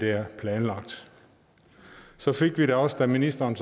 er planlagt så fik vi da også da ministeren